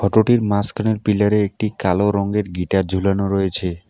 ফটোটির মাঝখানের পিলারে একটি কালো রঙের গিটার ঝুলানো রয়েছে।